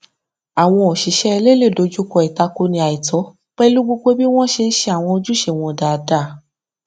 àwọn òṣìṣẹ ilé le dojúkọ ìtakoni àìtọ pẹlú gbogbo bí wọn ṣe n ṣe àwọn ojúṣe wọn dáadáa